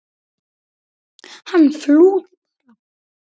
Hann flúði bara!